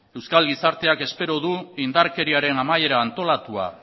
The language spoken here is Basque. euskal gizarteak espero du indarkeriaren amaiera antolatua